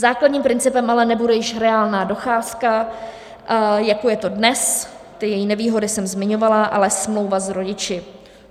Základním principem ale nebude již reálná docházka, jako je to dnes, ty její nevýhody jsem zmiňovala, ale smlouva s rodiči.